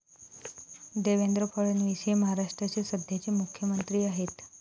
देवेंद्र फडणवीस हे महाराष्ट्राचे सध्याचे मुख्यमंत्री आहेत.